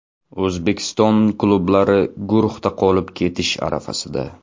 O‘zbekiston klublari guruhda qolib ketish arafasida.